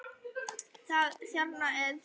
Það er þarna ennþá, já.